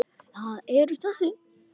Þau eru þessi: